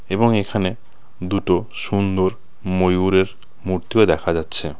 এবং এখানে দুটো সুন্দর ময়ূরের মূর্তিও দেখা যাচ্ছে .